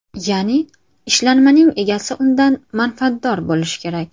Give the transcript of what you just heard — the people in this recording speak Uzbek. Ya’ni ishlanmaning egasi undan manfaatdor bo‘lishi kerak.